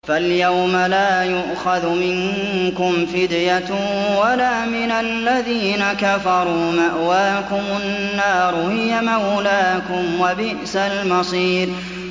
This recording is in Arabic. فَالْيَوْمَ لَا يُؤْخَذُ مِنكُمْ فِدْيَةٌ وَلَا مِنَ الَّذِينَ كَفَرُوا ۚ مَأْوَاكُمُ النَّارُ ۖ هِيَ مَوْلَاكُمْ ۖ وَبِئْسَ الْمَصِيرُ